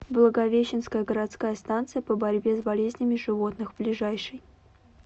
благовещенская городская станция по борьбе с болезнями животных ближайший